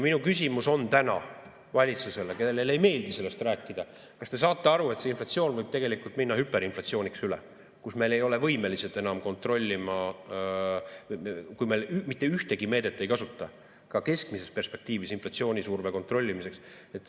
Minu küsimus on täna valitsusele, kellele ei meeldi sellest rääkida: kas te saate aru, et see inflatsioon võib minna hüperinflatsiooniks üle, kus me ei ole võimelised enam kontrollima, kui me mitte ühtegi meedet ei kasuta ka keskmises perspektiivis inflatsioonisurve kontrollimiseks?